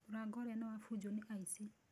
Mũrango ũrĩa nĩ wabunjwo nĩ aici.